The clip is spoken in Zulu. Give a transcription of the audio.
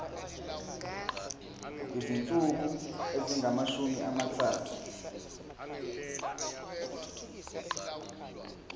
izinsuku ezingamashumi amathathu